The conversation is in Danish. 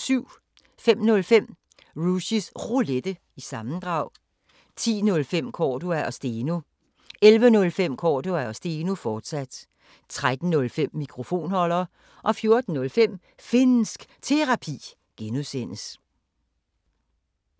05:05: Rushys Roulette – sammendrag 10:05: Cordua & Steno 11:05: Cordua & Steno, fortsat 13:05: Mikrofonholder 14:05: Finnsk Terapi (G)